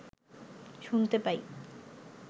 শুনতে পাই